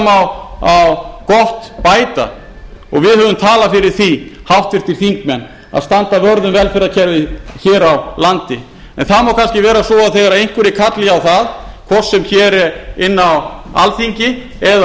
því auðvitað má gott bæta og við höfum talað fyrir því háttvirtir þingmenn að standa vörð um velferðarkerfið hér á landi en það má kannski vera svo að þegar einhverjir kalli á það hvort sem hér er inni á alþingi eða